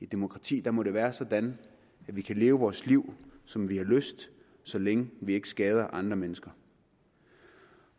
demokrati må det være sådan at vi kan leve vores liv som vi har lyst så længe vi ikke skader andre mennesker